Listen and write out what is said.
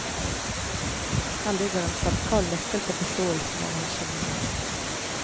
Her ligger en sentral nøkkel til forståelsen av hans geni.